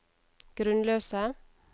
grunnløse